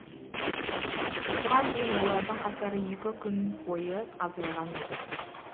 осыған дейін олардың қатары екі күн бойы азайған еді